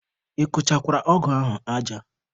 Ị kụchakwara ọgụ ahụ aja?